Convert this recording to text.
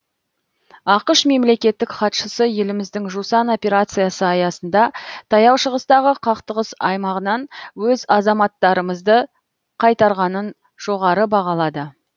ақш мемлекеттік хатшысы еліміздің жусан операциясы аясында таяу шығыстағы қақтығыс аймағынан өз азаматтарымызды қайтарғанын жоғары бағалады